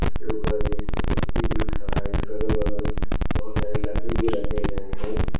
इसके ऊपर एक व्यक्ति भी खड़ा है। इसके अगल बगल बहुत सारे लकड़ी भी रखे गए हैं।